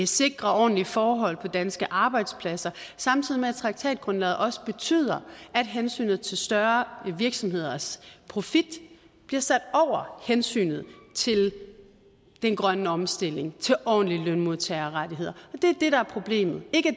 sikre ordentlige forhold på danske arbejdspladser samtidig med at traktatgrundlaget også betyder at hensynet til større virksomheders profit bliver sat over hensynet til den grønne omstilling til ordentlige lønmodtagerrettigheder det er det der er problemet ikke at